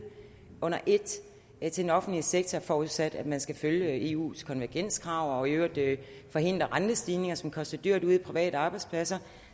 under et til den offentlige sektor forudsat at man skal følge eus konvergenskrav og i øvrigt forhindre rentestigninger som koster dyrt ude private arbejdspladser